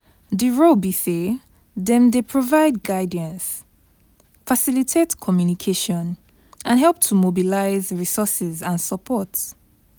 di role be say dem dey provide guidance, facilitate communication and help to mobilize resources and support.